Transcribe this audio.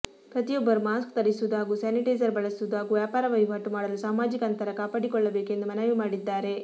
ಪ್ರತಿಯೊಬ್ಬರು ಮಾಸ್ಕ್ ಧರಿಸುವುದು ಹಾಗೂ ಸ್ಯಾನಿಟೇಸರ್ ಬಳಸುವುದು ಹಾಗೂ ವ್ಯಾಪಾರವಹಿವಾಟು ಮಾಡಲು ಸಾಮಾಜಿಕ ಅಂತರ ಕಾಪಾಡಿಕೊಳ್ಳಬೇಕು ಎಂದು ಮನವಿ ಮಾಡಿದ್ದಾರೆ